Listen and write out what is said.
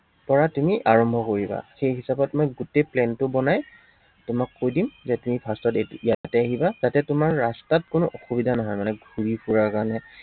পৰা তুমি আৰম্ভ কৰিবা। সেই হিচাপত মই গোটেই plan টো বনাই তোমাক কৈ দিম, যে তুমি first ত ইয়াতে আহিবা, যাতে তোমাৰ ৰাস্তাত অসুবিধা নহয় মানে ঘূৰি ফুৰাৰ কাৰনে